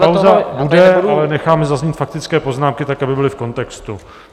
Pauza bude, ale necháme zaznít faktické poznámky tak, aby byly v kontextu.